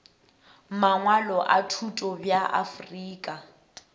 mangwalo a thuto bja afrika